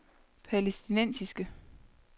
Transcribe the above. palæstinensiske